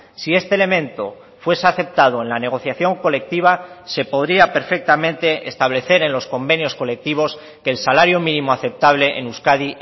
si este elemento fuese aceptado en la negociación colectiva se podría perfectamente establecer en los convenios colectivos que el salario mínimo aceptable en euskadi